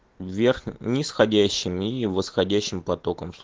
верх нисходящий и восходящим потоком чтоб